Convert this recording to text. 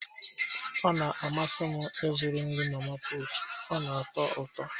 Ọ na-amasị m ịzụrụ nri mama putu, ọ na-atọ ụtọ